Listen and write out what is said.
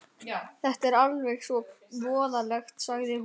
Þetta er alveg svo voðalegt, sagði hún.